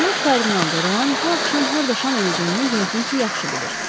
Cənab kardinal Deroan bu axşam harda şam edəcəyini yəqin ki, yaxşı bilir.